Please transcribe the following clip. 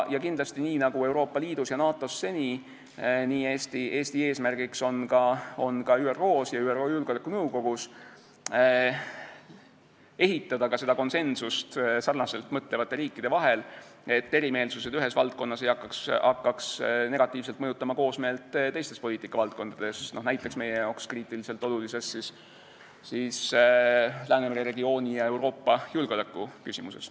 Kindlasti, nii nagu Euroopa Liidus ja NATO-s seni, on Eesti eesmärk ka ÜRO-s ja ÜRO Julgeolekunõukogus ehitada sarnaselt mõtlevate riikide konsensust, et erimeelsused ühes valdkonnas ei hakkaks negatiivselt mõjutama koosmeelt teistes poliitikavaldkondades, näiteks meie jaoks kriitiliselt olulises Läänemere regiooni ja üldse Euroopa julgeolekuküsimuses.